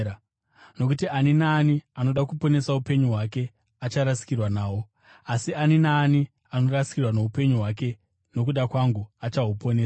Nokuti ani naani anoda kuponesa upenyu hwake acharasikirwa nahwo, asi ani naani anorasikirwa noupenyu hwake nokuda kwangu achahuponesa.